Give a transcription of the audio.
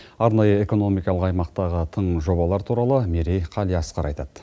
арнайы экономикалық аймақтағы тың жобалар туралы мерей қалиасқар айтады